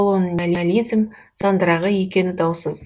колониализм сандырағы екені даусыз